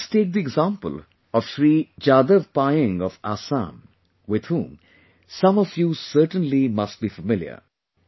Just take the example of Shri Jadav Payeng of Assam with whom some of you certainly must be familiar